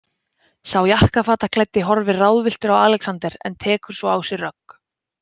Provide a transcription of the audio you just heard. Sá jakkafataklæddi horfir ráðvilltur á Alexander en tekur svo á sig rögg.